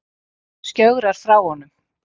Skjögrar frá honum.